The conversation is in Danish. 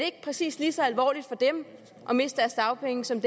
ikke præcis lige så alvorligt for dem at miste deres dagpenge som